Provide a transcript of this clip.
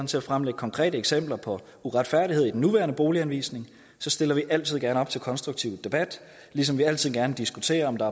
til at fremlægge konkrete eksempler på uretfærdighed i den nuværende boliganvisning så stiller vi altid gerne op til konstruktiv debat ligesom vi altid gerne diskuterer om der